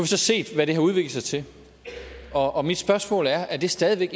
så set hvad det har udviklet sig til og mit spørgsmål er er det stadig